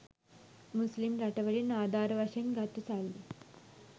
මුස්ලිම් රටවල්වලින් ආධාර වශයෙන් ගතු සල්ලි